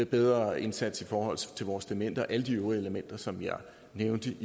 bedre indsats i forhold til vores demente og alle de øvrige elementer som jeg nævnte